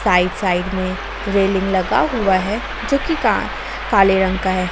Right side में railing लगा हुआ है जोकि का काले रंग का है।